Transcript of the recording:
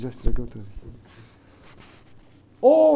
Já estraguei outra vez. Ôh!